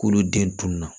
K'olu den tunun na